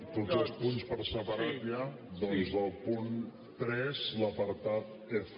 tots els punts per separat ja doncs del punt tres l’apartat f